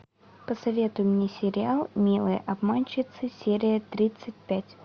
посоветуй мне сериал милые обманщицы серия тридцать пять